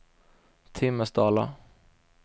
Timmersdala